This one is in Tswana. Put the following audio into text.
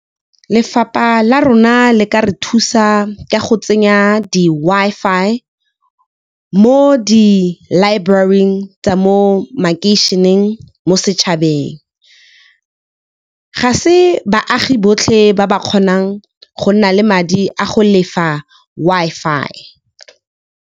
Lefapha la rona le ka re thusa ka go tsenya di Wi-Fi mo di-library-ing tsa mo makeišeneng mo setšhabeng. Ga se baagi botlhe ba ba kgonang go nna le madi a go lefa Wi-Fi.